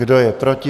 Kdo je proti?